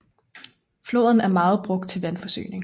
Floden er meget brugt til vandforsyning